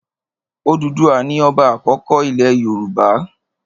Òdùduwà ni ọba àkọ́kọ́ ilẹ̀ Yorùbá.